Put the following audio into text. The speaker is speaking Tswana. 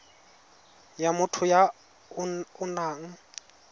ya motho ya o nang